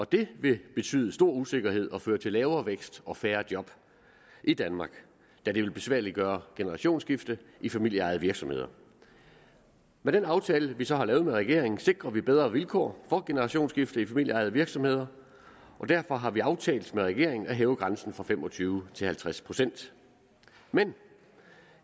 det ville betyde stor usikkerhed og føre til lavere vækst og færre job i danmark da det ville besværliggøre generationsskifte i familieejede virksomheder med den aftale vi så har lavet med regeringen sikrer vi bedre vilkår for generationsskifte i familieejede virksomheder og derfor har vi aftalt med regeringen at hæve grænsen fra fem og tyve til halvtreds procent men